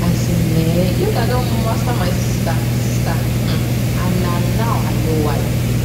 as in um yoga don master my sister sister um and na now i know why